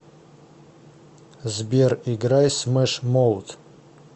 сбер играй смэш моут